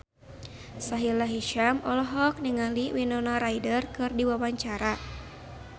Sahila Hisyam olohok ningali Winona Ryder keur diwawancara